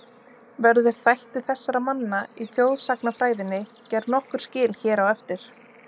Verður þætti þessara manna í þjóðsagnafræðinni gerð nokkur skil hér á eftir.